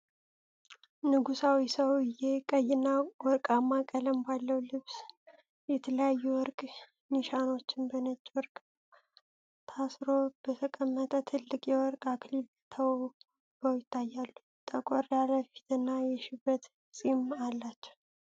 ንጉሣዊ ሰውዬ ቀይና ወርቃማ ቀለም ባለው ልብስ፣ የተለያዩ የወርቅ ኒሻኖችና በነጭ ጨርቅ ታስሮ በተቀመጠ ትልቅ የወርቅ አክሊል ተውበው ይታያሉ:: ጠቆር ያለ ፊትና የሸበተ ፂም አላቸው::